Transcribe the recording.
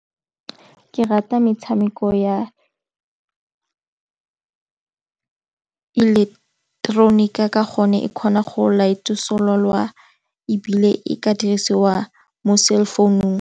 Ke rata metshameko ya ileketeroniki ka gone e kgona go ebile e ka dirisiwa mo cellphone-ung.